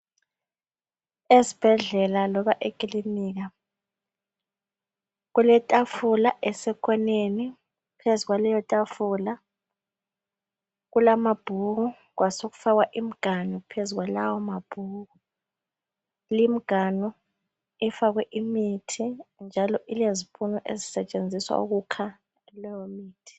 Esibhedlela loba eklinika kuletafula esekoneni. Phezu kwaleyo tafula, kulamabhuku, kwasekufakwa imiganu phezu kwalawo mabhuku . Li miganu ifakwe imithi njalo ilezipunu ezisethenziswa ukukha leyo mithi.